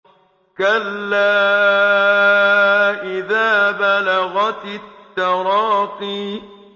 كَلَّا إِذَا بَلَغَتِ التَّرَاقِيَ